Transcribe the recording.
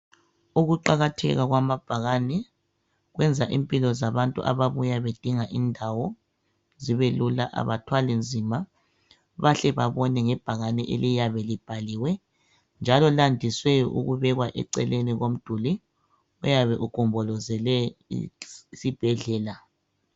Ukuqakatheka kwamabhakane kwenza impilo zabantu ababuya bedinga indawo zibelula abathwalinzima bahke babone ngebhakane eliyabe libhaliwe njalo landise ukubekwa eceleni komduli oyabe ugombolozele isibhedlela.